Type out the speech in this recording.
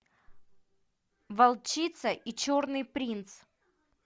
волчица и черный принц